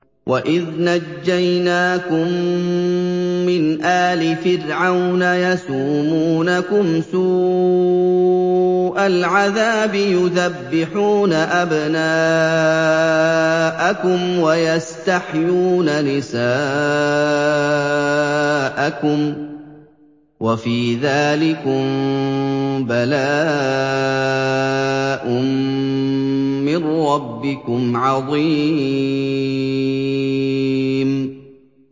وَإِذْ نَجَّيْنَاكُم مِّنْ آلِ فِرْعَوْنَ يَسُومُونَكُمْ سُوءَ الْعَذَابِ يُذَبِّحُونَ أَبْنَاءَكُمْ وَيَسْتَحْيُونَ نِسَاءَكُمْ ۚ وَفِي ذَٰلِكُم بَلَاءٌ مِّن رَّبِّكُمْ عَظِيمٌ